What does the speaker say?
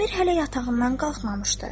Əmir hələ yatağından qalxmamışdı.